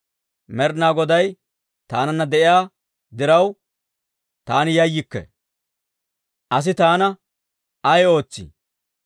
Med'inaa Goday taananna de'iyaa diraw, taani yayyikke. Asi taana ay ootsii?